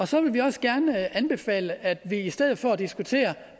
så vil vi også gerne anbefale at vi i stedet for at diskutere